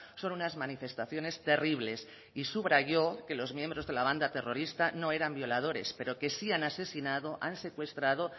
son unas manifestaciones terribles y subrayó que los miembros de la banda terrorista no eran violadores pero que sí han asesinado han secuestrado